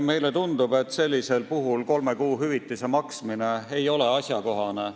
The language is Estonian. Meile tundub, et sellisel puhul kolme kuu hüvitise maksmine ei ole asjakohane.